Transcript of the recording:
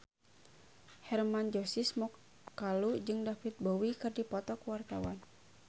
Hermann Josis Mokalu jeung David Bowie keur dipoto ku wartawan